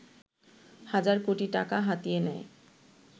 হাজার কোটি টাকা হাতিয়ে নেয়